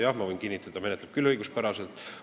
Jah, ma võin kinnitada, et menetleb küll õiguspäraselt.